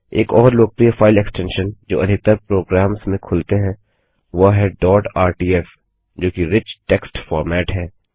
एक और लोकप्रिय फाइल एक्सटेंशन जो अधिकतर प्रोग्राम्स में खुलते हैं वह है डॉट आरटीएफ जोकि रिच टेक्स्ट फॉर्मेट है